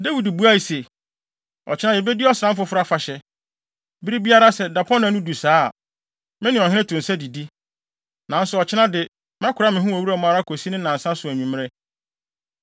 Dawid buae se, “Ɔkyena yebedi Ɔsram Foforo Afahyɛ. Bere biara, sɛ dapɔnna no du saa a, me ne ɔhene to nsa didi. Nanso ɔkyena de, mɛkora me ho wɔ wuram ara kosi ne nnansa so anwummere.